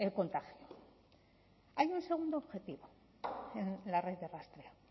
contagio hay un segundo objetivo en la red de rastreo